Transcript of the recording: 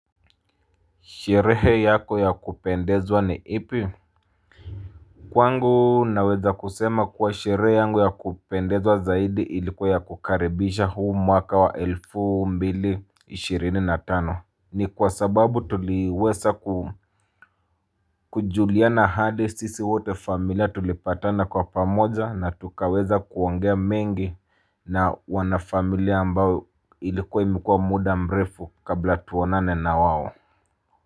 Sherehe yako ya kupendezwa ni ipi? Kwangu naweza kusema kuwa sherehe yangu ya kupendezwa zaidi ilikuwa ya kukaribisha huu mwaka wa elfu mbili ishirini na tano. Ni kwa sababu tuliwesa kujuliana hali sisi wote familia tulipatana kwa pamoja na tukaweza kuongea mengi na wanafamilia ambao ilikuwa imekuwa muda mrefu kabla tuonane na wao.